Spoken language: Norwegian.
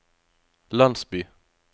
landsby